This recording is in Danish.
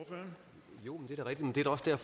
jeg